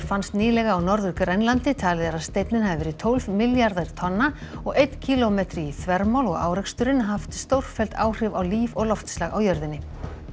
fannst nýlega á Norður Grænlandi talið er að steinninn hafi verið tólf milljarðar tonna og einn kílómetri í þvermál og áreksturinn haft stórfelld áhrif á líf og loftslag á jörðinni